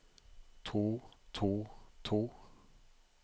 to to to